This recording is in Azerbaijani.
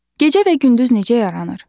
Gecə və gündüz necə yaranır?